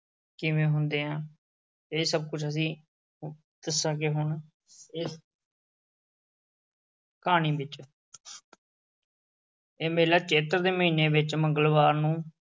ਕਿਵੇਂ ਹੁੰਦੇ ਆ। ਇਹ ਸਭ ਕੁਝ ਅਸੀਂ ਅਹ ਦੱਸਾਂਗੇ ਹੁਣ ਇਹ ਅਹ ਕਹਾਣੀ ਵਿੱਚ ਇਹ ਮੇਲਾ ਚੇਤ ਦੇ ਮਹੀਨੇ ਵਿੱਚ ਮੰਗਲਵਾਰ ਨੂੰ